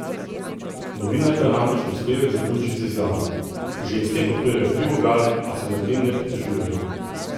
Novinarka namreč prispevek zaključi z izjavo: "Ženske podpirajo tri vogale, a se nad tem ne pritožujejo.